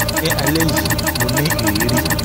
alẹ́ yìí mo ní ìrírí